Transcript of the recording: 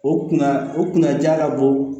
O kunna o kunnaja ka bɔ